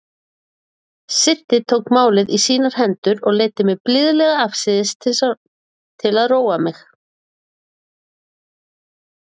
Siddi tók málið í sínar hendur og leiddi mig blíðlega afsíðis til að róa mig.